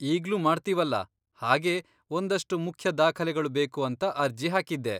ಈಗ್ಲೂ ಮಾಡ್ತೀವಲ್ಲ, ಹಾಗೇ ಒಂದಷ್ಟು ಮುಖ್ಯ ದಾಖಲೆಗಳು ಬೇಕು ಅಂತ ಅರ್ಜಿ ಹಾಕಿದ್ದೆ.